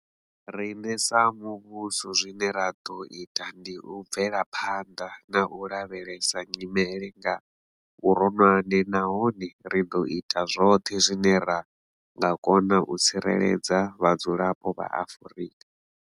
Riṋe sa muvhuso zwine ra ḓo ita ndi u bvela phanḓa na u lavhelesa nyimele nga vhuronwane nahone ri ḓo ita zwoṱhe zwine ra nga kona u tsireledza vhadzulapo vha Afrika.